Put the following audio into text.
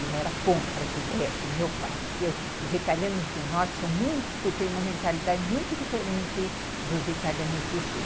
E era contra as ideias do meu pai, porque os italianos do norte são muito, têm uma mentalidade muito diferente dos italianos do sul.